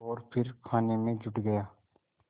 और फिर खाने में जुट गया